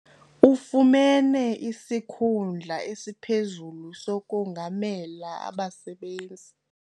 Ufumene isikhundla esiphezulu sokongamela abasebenzi.